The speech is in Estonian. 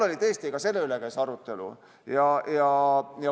Tõesti, ka selle üle käis arutelu.